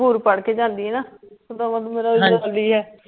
ਹੂਰ ਪੜ ਕੇ ਜਾਂਦੀ ਹੈ ਨਾ